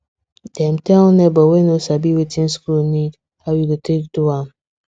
dem tell neighbor wey no sabi wetin school need how e go take do am